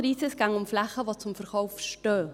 Es ginge um Flächen, die zum Verkauf stehen.